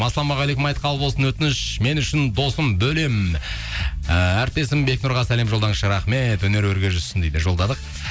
ассалаумағалейкум айт қабыл болсын өтініш мен үшін досым бөлем ііі әріптесім бекнұрға сәлем жолдаңызшы рахмет өнері өрге жүзсін дейді жолдадық